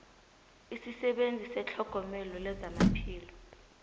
isisebenzi setlhogomelo lezamaphilo